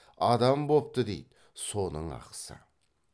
адам бопты дейді соның ақысы